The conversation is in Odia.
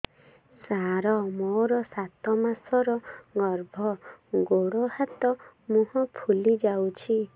ସାର ମୋର ସାତ ମାସର ଗର୍ଭ ଗୋଡ଼ ହାତ ମୁହଁ ଫୁଲି ଯାଉଛି